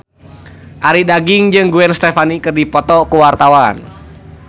Arie Daginks jeung Gwen Stefani keur dipoto ku wartawan